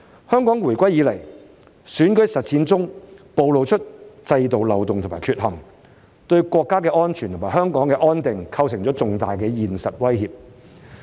香港回歸以來，選舉實踐中暴露了制度漏洞和缺陷，對國家安全和香港安定構成了重大現實威脅。